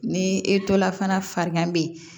Ni e to la fana farigan bɛ yen